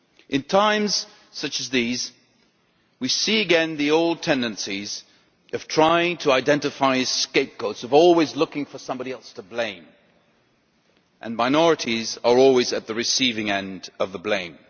In times such as these, we see again the old tendencies of trying to identify scapegoats of always looking for somebody else to blame and minorities are always at the receiving end of the blame.